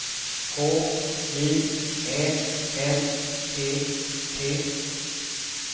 H J Ä L P T